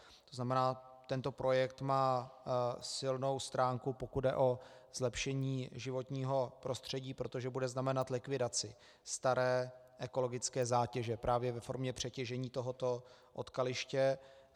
To znamená, tento projekt má silnou stránku, pokud jde o zlepšení životního prostředí, protože bude znamenat likvidaci staré ekologické zátěže právě ve formě přetěžení tohoto odkaliště.